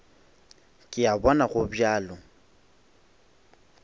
ke a bona go bjalo